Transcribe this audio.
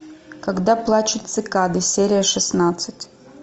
когда плачут цикады серия шестнадцать